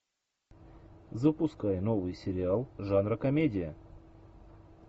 запускай новый сериал жанра комедия